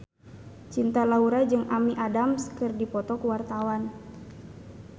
Cinta Laura jeung Amy Adams keur dipoto ku wartawan